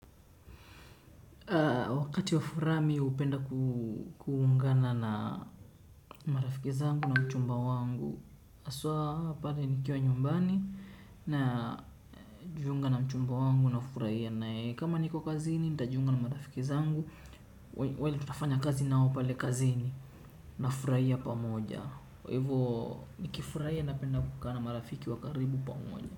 Wakati wa furaha mi hupenda kuungana na marafiki zangu na mchumba wangu haswa pale nikiwa nyumbani na jiunga na mchumba wangu nafurahia naye. Kama niko kazini nitajiunga na marafiki zangu. Wale tutafanya kazi nao pale kazini nafurahia pamoja. Kwa hivo nikifurahia napenda kukaa na marafiki wa karibu pamoja.